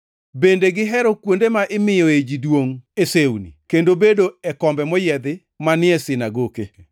Bende gihero kuonde ma imiyoe ji duongʼ e sewni kendo bedo e kombe moyiedhi manie sinagoke.